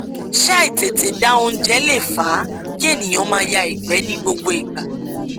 ṣé àìtètè da oúnjẹ lè fa kí ènìyàn máa ya ìgbẹ ní gbogbo ìgbà